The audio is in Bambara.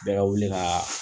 Bɛɛ ka wuli kaaa